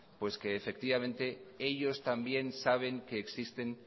que efectivamente ellos también saben que existen